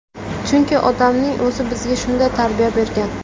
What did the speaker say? Chunki otamning o‘zi bizga shunday tarbiya bergan.